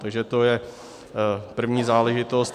Takže to je první záležitost.